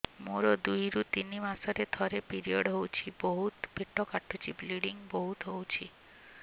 ମୋର ଦୁଇରୁ ତିନି ମାସରେ ଥରେ ପିରିଅଡ଼ ହଉଛି ବହୁତ ପେଟ କାଟୁଛି ବ୍ଲିଡ଼ିଙ୍ଗ ବହୁତ ହଉଛି